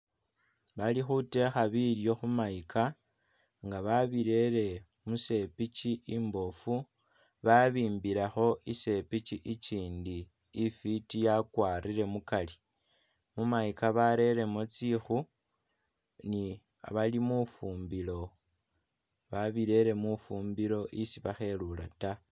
Bali khutekha bilyo khu mayika nga babirele musepichi imboofu babimbilekho isepichi ichindi ifiti yakwarile mukari mumayika bareremo tsikhu ni bali mufumbilo babirere mufumbilo esi bakhelula ta